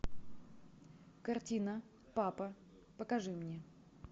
картина папа покажи мне